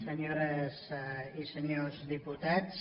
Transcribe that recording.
senyores i senyors diputats